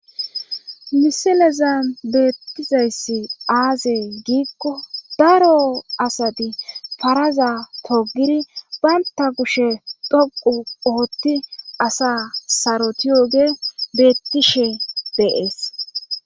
miseleza beettizayssi aaze giikko daro asati faraza togidi baynta kushe dhoqu ootti asa saroti yoge beettishe deees